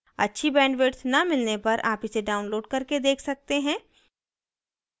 अच्छी bandwidth न मिलने पर आप इसे download करके देख सकते हैं